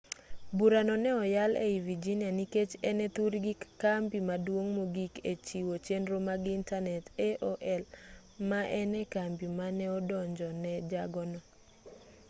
burano ne oyal ei virginia nikech en e thurgi kambi maduong' mogik e chiwo chenro mag intanet aol ma en e kambi mane odonjo ne jago no